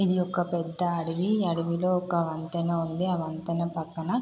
ఇది ఒక పెద్ద అడవి. ఆ అడవిలో ఒక వంతెన ఉంది. వంతెన పక్కన పెద్ద పెద్ద చెట్లు ఉన్నాయి.